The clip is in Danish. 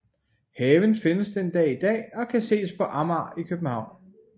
Haven findes den dag i dag og kan ses på Amager i København